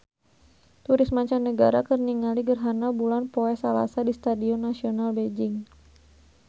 Turis mancanagara keur ningali gerhana bulan poe Salasa di Stadion Nasional Beijing